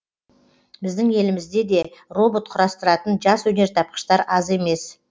біздің елімізде де робот құрастыратын жас өнертапқыштар аз емес